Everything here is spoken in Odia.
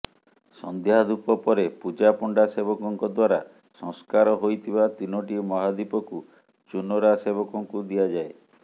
ସଂନ୍ଧ୍ୟାଧୂପ ପରେ ପୁଜାପଣ୍ଡା ସେବକଙ୍କ ଦ୍ୱାରା ସଂସ୍କାର ହୋଇଥିବା ତିନୋଟି ମହାଦୀପକୁ ଚୁନରା ସେବକଙ୍କୁ ଦିଆଯାଏ